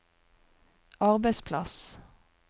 arbeidsplass